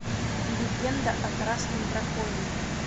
легенда о красном драконе